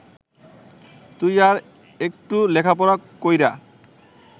তুই আর এট্টু লেখাপড়া কইরা